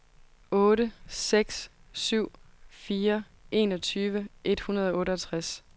otte seks syv fire enogtyve et hundrede og otteogtres